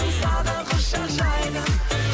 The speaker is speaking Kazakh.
саған құшақ жайдым